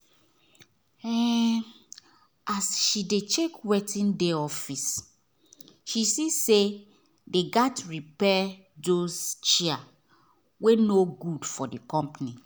um as she check wetin dey office she see say they gat repair those chair wey no good for the company